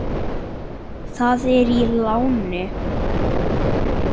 Það er í láni.